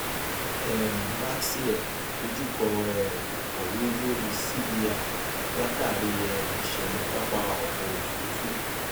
um max air dojúkọ um ìkọwé lórí cvr látàrí um iṣẹlẹ pápá ọkọ òfurufú